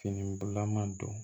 Fini bulama don